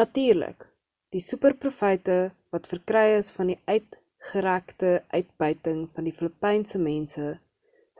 natuurlik die super profyte wat verkry is van die uitgerekte uitbuiting van die filipynse mense